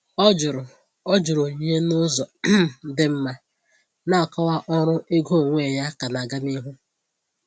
Ọ jụrụ Ọ jụrụ onyinye n’ụzọ um dị mma, na-akọwa ọrụ ego onwe ya ka na-aga n’ihu.